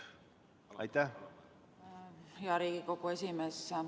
Hea Riigikogu esimees!